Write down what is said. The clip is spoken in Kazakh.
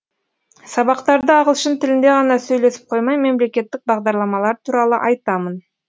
сабақтарда ағылшын тілінде ғана сөйлесіп қоймай мемлекеттік бағдарламалар туралы айтамын